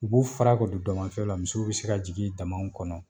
U b'u fara ka don damafiyɛ u la misiw be se ka jigin damaw kɔnɔ